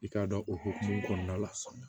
I k'a dɔn o hokumu kɔnɔna la sa